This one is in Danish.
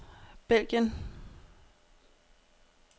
Belgien